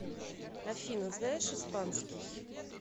афина знаешь испанский